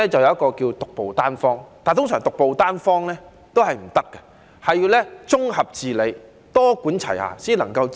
有一個診治方法稱為"獨步單方"，但通常都是不可行的，還是要綜合治理、多管齊下，才能把病醫好。